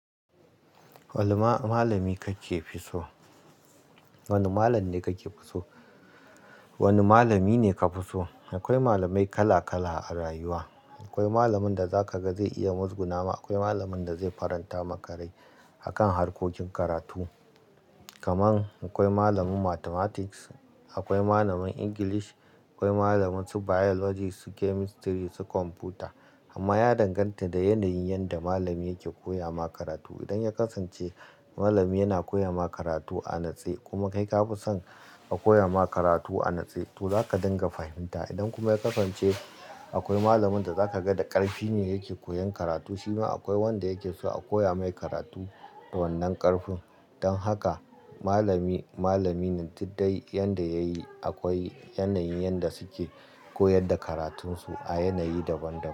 Wanne ma-malami kake fi so? Wane malam ne kake so? Wane malami ne ka fi so? Akwai malamai kala-kala a rayuwa. Akwai malamin da za ka ga zai iya muzguna, akwai malamin da zai faranta makarai akan harkokin karatu. Kaman akwai malamin Mathematics, akwai malamin English, akwai malamin su Biology, su Chemistry, su Computer. Amma ya danganta da yanayin yanda malami yake koya ma karatu. Idan ya kasance malami yana koya ma karatu a natse kuma kai ka fi son a koya ma karatu a natse to za ka dinga fahimta. Idan kuma ya kasance akwai malamin da za ka ga da ƙarfi ne yake koyan karatu shima akwai wanda yake so a koya mai karatu da wannan ƙarfin. Don haka malami, malami ne duddai yanda yayi akwai yanayin yanda suke koyar da karatunsu a yanayi daban-daban.